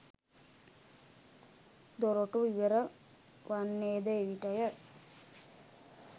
දොරටු විවර වන්නේද එවිටය.